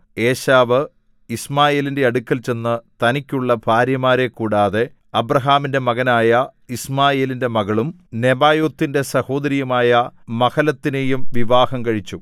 ഏശാവ് യിശ്മായേലിന്റെ അടുക്കൽ ചെന്നു തനിക്കുള്ള ഭാര്യമാരെ കൂടാതെ അബ്രാഹാമിന്റെ മകനായ യിശ്മായേലിന്റെ മകളും നെബായോത്തിന്റെ സഹോദരിയുമായ മഹലത്തിനെയും വിവാഹം കഴിച്ചു